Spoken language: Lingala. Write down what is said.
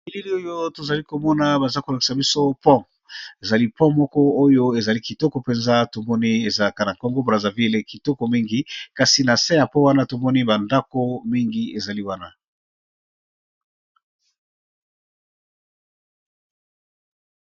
Bilili oyo tozali komona, bazali kolakisa biso pont , ezali pont moko oyo ezalalaka na congo brazza , kitoko mingi kasi na se ya pont wana tomoni ba ndako mingi ezali wana.